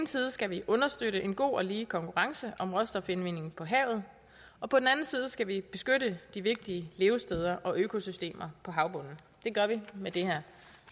side skal vi understøtte en god og lige konkurrence om råstofindvinding på havet og på den anden side skal vi beskytte de vigtige levesteder og økosystemer på havbunden det gør vi med det her